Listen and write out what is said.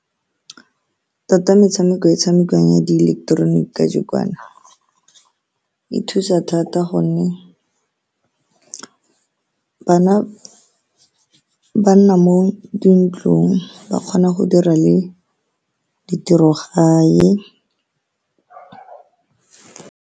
Tota, metshameko e e tshamekiwang ya diileketeroniki, kajeno jaana e thusa thata ka gonne bana ba nna mo dintlong ba kgona go dira le di tirogae.